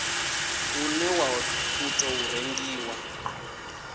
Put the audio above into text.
une wa u tou rengiwa